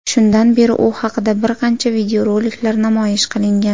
Shundan beri u haqida bir qancha videoroliklar namoyish qilingan.